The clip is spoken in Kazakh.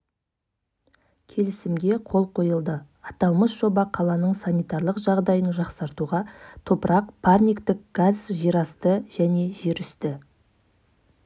келісімге қол қойылды аталмыш жоба қаланың санитарлық жағдайын жақсартуға топырақ парниктік газ жерасты және жерүсті